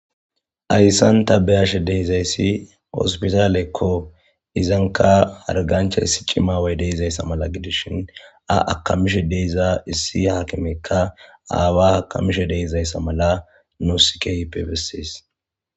Hayssan ta be7ashe de7izayssi hospitaalekko izanka hargancha issi cimaway deizayssa mala gidishin a akamishe deiza issi haakimekka aawa akamishe de7izayssa mala nuussika bessses.